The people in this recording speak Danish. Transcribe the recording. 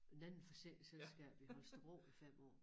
En anden forsikringsselskab i Holstebro i 5 år